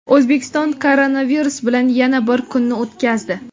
O‘zbekiston koronavirus bilan yana bir kunni o‘tkazdi.